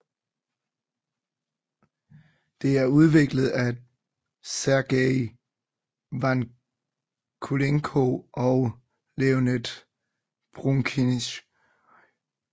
Det er udviklet af Sergey Vakulenko og Leonid Broukhis